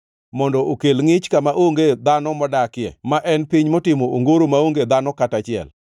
mondo okel ngʼich kama onge dhano modakie ma en piny motimo ongoro maonge dhano kata achiel,